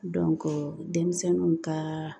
denmisɛnninw ka